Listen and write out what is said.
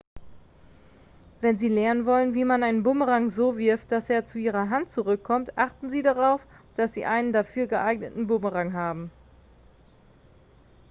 wenn sie lernen wollen wie man einen bumerang so wirft dass er zu ihrer hand zurückkommt achten sie darauf dass sie einen dafür geeigneten bumerang haben